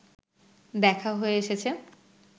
দেখা হয়ে এসেছে